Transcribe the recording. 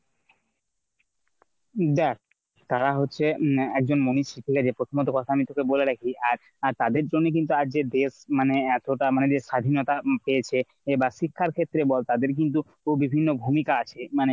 দেখ তারা হচ্ছে উম একজন মনীষী ঠিক আছে প্ৰথমে তোকে ওখান থেকে বলে রাখি আজ তাদের জন্যই কিন্তু আজ যে দেশ মানে এতটা মানে যে স্বাধীনতা পেয়েছে বা শিক্ষার ক্ষেত্রে বল তাদের কিন্তু পুরো বিভিন্ন ভূমিকা আছে। মানে